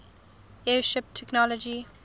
airship technology